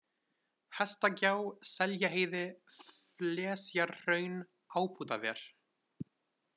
Hestagjá, Seljaheiði, Flesjarhraun, Ábótaver